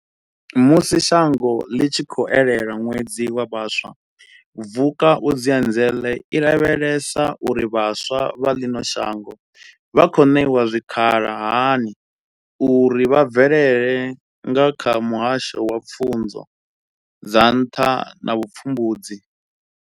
Musi shango ḽi tshi khou elelwa ṅwedzi wa vhaswa, Vukuzenzele i lavhelesa uri vhaswa vha ḽino shango vha khou ṋewa zwikhala hani uri vha bvelele nga kha muhasho wa Pfunzo dza Nṱha na Vhupfumbudzi.